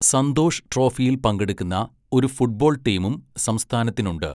സന്തോഷ് ട്രോഫിയിൽ പങ്കെടുക്കുന്ന ഒരു ഫുട്ബോൾ ടീമും സംസ്ഥാനത്തിനുണ്ട്.